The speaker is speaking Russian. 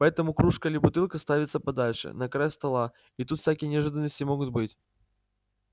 поэтому кружка или бутылка ставится подальше на край стола и тут всякие неожиданности могут быть